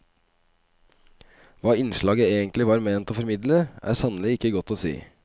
Hva innslaget egentlig var ment å formidle, er sannelig ikke godt å si.